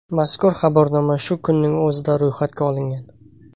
Mazkur xabarnoma shu kunning o‘zida ro‘yxatga olingan.